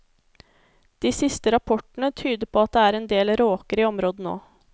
De siste rapportene tyder på at det er en del råker i området nå.